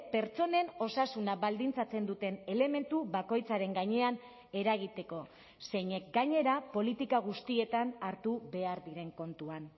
pertsonen osasuna baldintzatzen duten elementu bakoitzaren gainean eragiteko zeinek gainera politika guztietan hartu behar diren kontuan